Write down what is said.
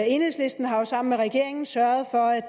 enhedslisten har jo sammen med regeringen sørget for at